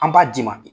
An b'a d'i ma bi